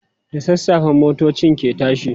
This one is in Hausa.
da sassafe motocin ke tashi